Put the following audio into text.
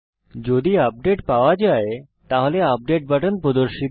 যদি আপডেট পাওয়া যায় তাহলে আপডেট বাটন প্রদর্শিত হয়